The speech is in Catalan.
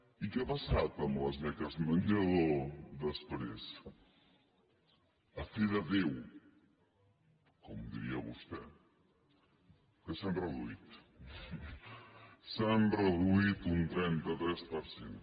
i què ha passat amb les beques menjador després a fe de déu com diria vostè que s’han reduït s’han reduït un trenta tres per cent